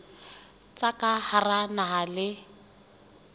tsa ka hara naha le